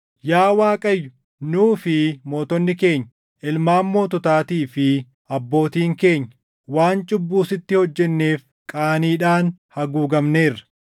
Yaa Waaqayyo nuu fi mootonni keenya, ilmaan moototaatii fi abbootiin keenya waan cubbuu sitti hojjenneef qaaniidhaan haguugamneerra.